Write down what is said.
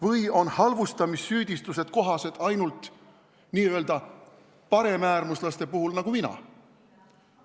Või on halvustamissüüdistused kohased ainult n-ö paremäärmuslaste puhul nagu mina?